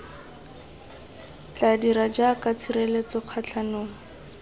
tla dira jaaka tshireletso kgatlhanong